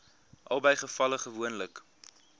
albei gevalle gewoonlik